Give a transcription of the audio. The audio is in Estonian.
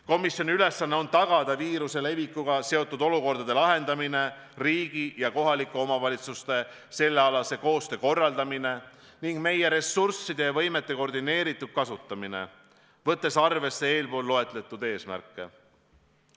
Komisjoni ülesanne on tagada viiruse levikuga seotud olukordade lahendamine, riigi ja kohalike omavalitsuste sellealase koostöö korraldamine ning meie ressursside ja võimete koordineeritud kasutamine, võttes arvesse eespool loetletud eesmärke.